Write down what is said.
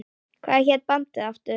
Hvað hét bandið aftur?